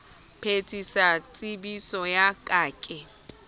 phethisa tshepiso ya ka ke